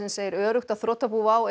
segir öruggt að þrotabú WOW